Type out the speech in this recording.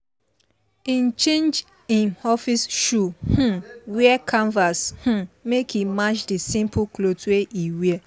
him change him office shoe um wear canvas um make e match the simple cloth wey e wear.